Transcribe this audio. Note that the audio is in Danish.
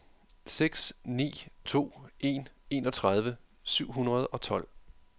seks ni to en enogtredive syv hundrede og tolv